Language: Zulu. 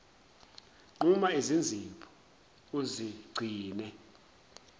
nquma izinzipho uzigcine